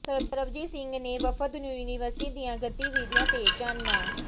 ਸਰਬਜੀਤ ਸਿੰਘ ਨੇ ਵਫ਼ਦ ਨੂੰ ਯੂਨੀਵਰਸਿਟੀ ਦੀਆਂ ਗਤੀਵਿਧੀਆਂ ਤੇ ਚਾਨਣਾ